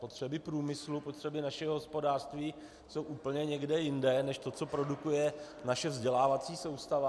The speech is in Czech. Potřeby průmyslu, potřeby našeho hospodářství jsou úplně někde jinde než to, co produkuje naše vzdělávací soustava.